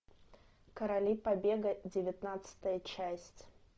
короли побега девятнадцатая часть